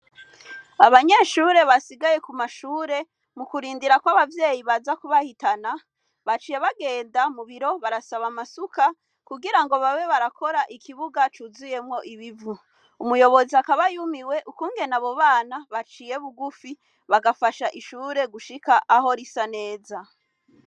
Abanyeshure basigaye ku mashure mu kurindira kw'abavyeyi baza kubahitana baciye bagenda mu biro barasaba amasuka kugira ngo babe barakora ikibuga cuzuyemwo ibivu umuyobozi akabayumiwe ukungene abo bana baciye bugufi bagafasha ishure gushika aho risa neza a.